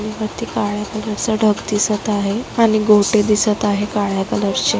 आणि वरती काळ्या कलरच ढग दिसत आहे आणि गोटे दिसत आहे काळ्या कलरचे .